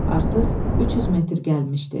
Artıq 300 metr gəlmişdi.